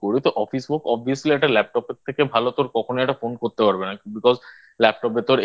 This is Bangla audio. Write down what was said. তো Office Work Obviously একটা Laptop এর থেকে ভালো তোর কখনো একটা Phone করতে পারবে না Because Laptop এর ভেতর